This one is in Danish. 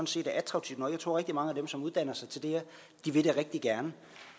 set er attraktive nok jeg tror at rigtig mange af dem som uddanner sig til det her rigtig gerne